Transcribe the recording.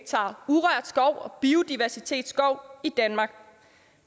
urørt skov og biodiversitetsskov i danmark